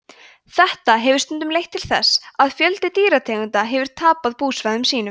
þetta hefur stundum leitt til þess að fjöldi dýrategunda hefur tapað búsvæðum sínum